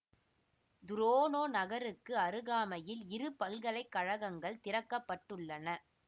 துரோனோ நகருக்கு அருகாமையில் இரு பல்கலை கழகங்கள் திறக்க பட்டுள்ளன